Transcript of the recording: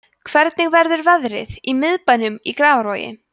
hvernig verður veðrið í miðbænum í grafavogi